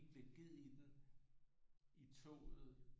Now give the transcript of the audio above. Lidt ged i den i toget